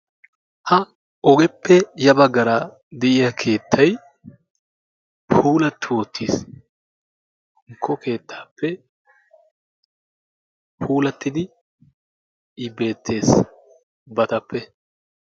Ha ogeppe ya baggaara de'iya keettay puulaati uttis. Hankko keettappe puulaatidi i beetees ubbatappe.